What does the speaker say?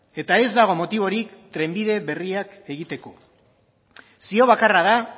eta ez dago motiborik trenbide berriak egiteko zio bakarra da